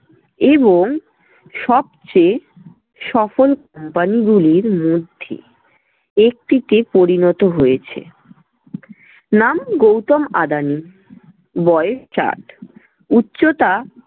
এবং সবচেয়ে সফল company গুলির মধ্যে একটিতে পরিণত হয়েছে। নাম- গৌতম আদানি বয়েস ষাট, উচ্চতা